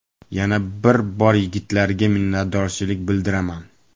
Yana bir bor yigitlarga minnatdorchilik bildiraman.